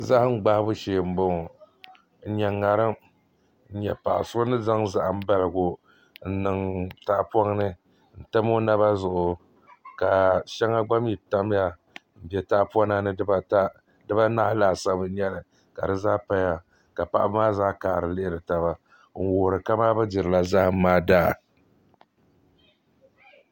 Zaham gbahabu shee n bɔŋɔ n nyɛ ŋarim n nyɛ paɣa so bɛ ni zaŋ zaham baligu n niŋ tahapoŋ ni n tam o naba zuɣu ka shɛli gba mii tamya n bɛ tahapona ni dibata dibanahi laasabu n nyɛli ka di zaa paya ka paɣaba maa zaa kaɣari lihiri tana n lihiri kamani bi dirila zaham maa daa